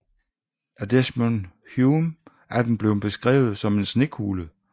Af Desmond Hume er den blevet beskrevet som en snekugle